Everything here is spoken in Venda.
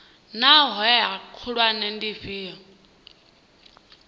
naa hoea khulwane ndi dzifhio